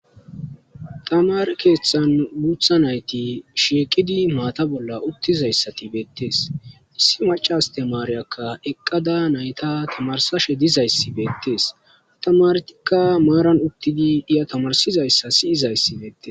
Tamare keeththan guutha nayti shiqidi maata bolla uttizayssati beettees issi macas astemaariyakka eqqada nayta tamarsashe dizayssi beettees tamartikka maaran uttidi iya tamarsizayssa siyizayssi beettes.